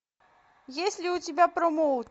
есть ли у тебя промоут